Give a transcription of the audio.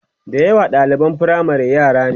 da yawa ɗaliban firamare yara ne